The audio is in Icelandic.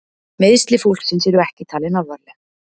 Meiðsli fólksins eru ekki talin alvarleg